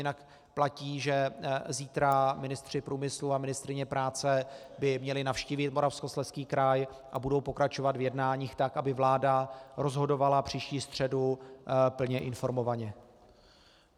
Jinak platí, že zítra ministr průmyslu a ministryně práce by měli navštívit Moravskoslezský kraj a budou pokračovat v jednáních tak, aby vláda rozhodovala příští středu plně informovaně.